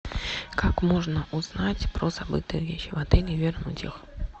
как можно узнать про забытые вещи в отеле и вернуть их